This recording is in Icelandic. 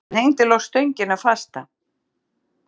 Hann hengdi loks stöngina fasta.